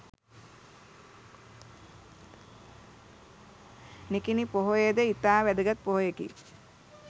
නිකිණි පොහොය ද ඉතා වැදගත් පොහොයකි